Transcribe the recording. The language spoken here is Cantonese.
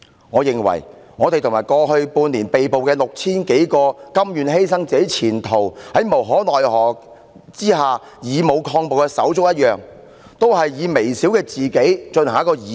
我認為，我們和在過去半年內被捕的 6,000 多位甘願犧牲自己前途、在無可奈何的情況下以武抗暴的手足一樣，寧可犧牲自己以成就義舉。